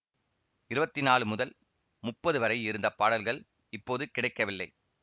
இருவத்தி நாலு முதல் முப்பது வரை இருந்த பாடல்கள் இப்போது கிடைக்கவில்லை